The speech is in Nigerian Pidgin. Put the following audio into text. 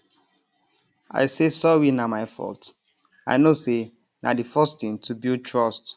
i say sorry na my fault i know say na d first thing to build trust